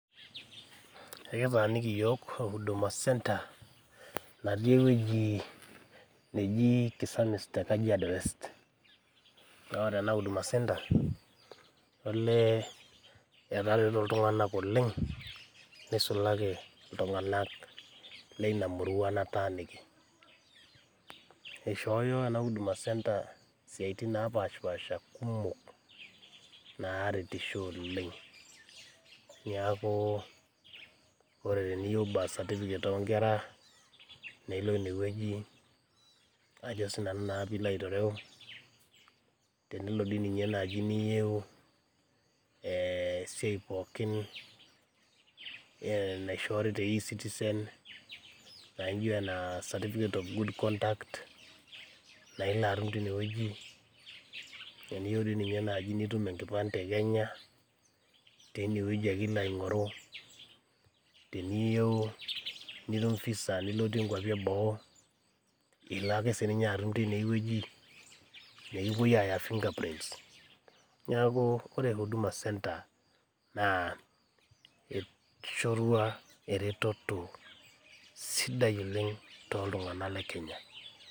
Ekitaaniki iyiok huduma centre natii ewueji naji Kisamis te Kajiado west. Naa ore ena huduma centre olee etareto iltung`anak oleng neisulaki too iltung`anak lina murua nataaniki. Eishooyo ena huduma center siaitin napaashipaasha kumok naaretisho oleng. Niaku ore teniyieu birth certificate oo nkera nilo ine wueji ajo sii nanu naa pee ilo aitereu. Tenelo dii ninye naaji ninye niyieu esiai pookin naishoori te e-citizen naijo enaa certificate of good conduct naa ilo atum teine wueji. Teniyieu dii ninye naaji nitum enkipande e Kenya , teine wueji ake ilo aing`oru. Teniyieu nitum visa nilotie nkuapi e boo, ilo ake sii ninye atum teine wueji. Nikipuoi aaya fingerprint. Niaku ore huduma centre eishorua eretoto sidai oleng too iltung`anak le Kenya.